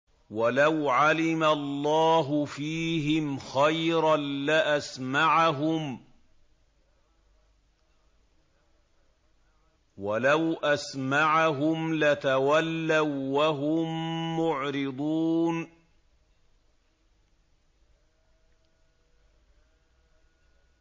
وَلَوْ عَلِمَ اللَّهُ فِيهِمْ خَيْرًا لَّأَسْمَعَهُمْ ۖ وَلَوْ أَسْمَعَهُمْ لَتَوَلَّوا وَّهُم مُّعْرِضُونَ